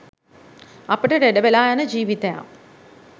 අපට ලෙඩ වෙලා යන ජීවිතයක්